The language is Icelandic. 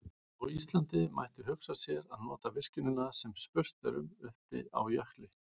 Á Íslandi mætti hugsa sér að nota virkjunina sem spurt er um uppi á jökli.